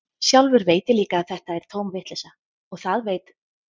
Sjálfur veit ég líka að þetta er tóm vitleysa, og það veit